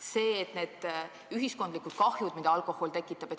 Pole enam oluline ühiskondlik kahju, mida alkohol tekitab.